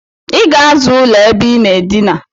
Iga aza ụlọ ebe inaa edina!